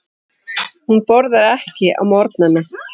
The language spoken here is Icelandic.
Hún borðar ekki á morgnana.